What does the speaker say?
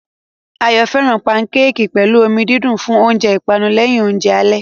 Ayo fẹ́ràn pankéèkì pẹ̀lú omi dídùn fún oúnjẹ ìpanu lẹ́yìn oúnjẹ alẹ́.